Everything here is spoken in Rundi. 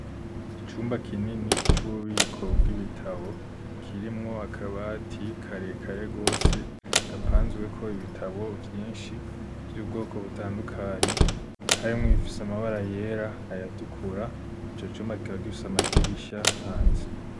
Icumba kinini, c'ububiko bw'ibitabo, kirimwo akabati, karekare gose, gapanzweko, ibitabo vyinshi, vy'ubwoko butandukanye; harimwo ibifise, amabara yera, ayatukura; ico cumba, kikaba gifise, amadirisha hanze.